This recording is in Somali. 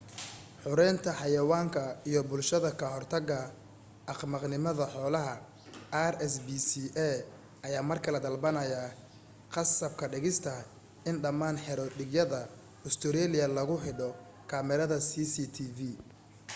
xoreynta xayawaanka iyo bulshada ka hortaga axmaqnimada xoolaha rspca ayaa mar kale dalbanaya qasab ka dhigista in dhammaan xero-dhiigyada ustareeliya lagu cidho kamaradaha cctv